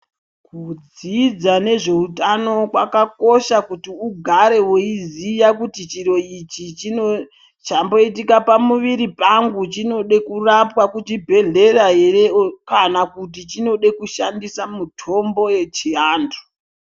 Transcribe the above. Kudzidza nezveutano kwakakosha kuti ugare veiziya kuti chiro ichi chino chamboita pamuviri changu chinode kurapwa kuchibhedhlera ere. Kana kuti chinode kushandisa mitombo yechiantu.